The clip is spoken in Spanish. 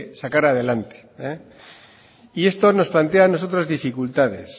sacar adelante y esto nos plantea a nosotros dificultades